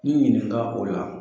I ɲininka o la.